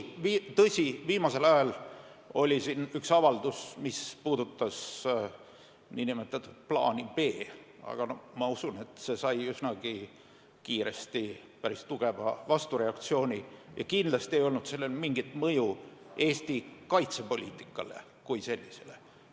Tõsi, hiljuti oli üks avaldus, mis puudutas nn plaani B. Aga ma usun, et see sai üsnagi kiiresti päris tugeva vastureaktsiooni ja kindlasti ei olnud sellel mingit mõju Eesti kaitsepoliitikale kui sellisele.